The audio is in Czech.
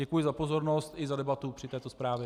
Děkuji za pozornost i za debatu k této zprávě.